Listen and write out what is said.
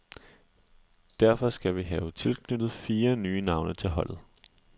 Derfor skal vi have tilknyttet fire nye navne til holdet.